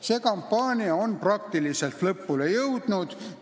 See kampaania on peaaegu lõpule jõudnud.